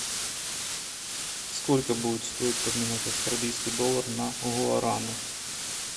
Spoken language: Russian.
сколько будет стоить поменять австралийский доллар на гуараны